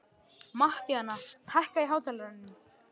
Mattíana, hækkaðu í hátalaranum.